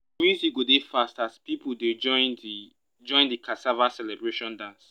the music go dey fast as people dey join the join the cassava celebration dance.